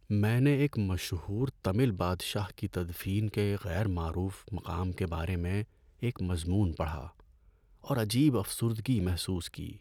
میں نے ایک مشہور تمل بادشاہ کی تدفین کے غیر معروف مقام کے بارے میں ایک مضمون پڑھا اور عجیب افسردگی محسوس کی۔